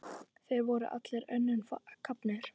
Þeir voru allir önnum kafnir.